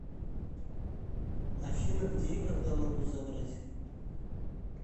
афина где и когда могу забрать